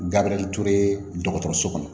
Gabriel ture dɔgɔtɔrɔso kɔnɔ